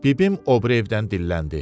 Bibim o biri evdən dilləndi.